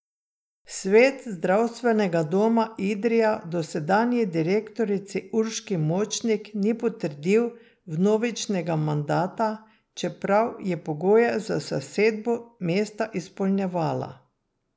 Svet Zdravstvenega doma Idrija dosedanji direktorici Urški Močnik ni potrdil vnovičnega mandata, čeprav je pogoje za zasedbo mesta izpolnjevala.